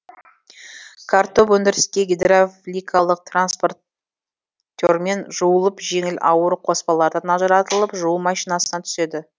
картоп өндіріске гидравликалық транспортермен жуылып жеңіл ауыр қоспалардан ажыратылып жуу машинасына түседі